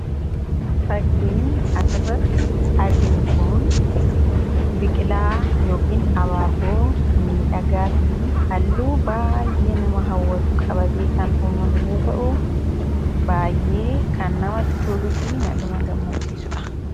fakkiin asirratti arginu kun biqilaa yookiin abaaboo miidhagaa fi halluu baayyee nama hawwatu qabate kan uumame yoo ta'u baayyee kan namatti tuluu fi nama gammachiisudha